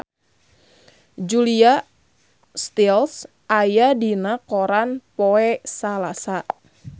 Julia Stiles aya dina koran poe Salasa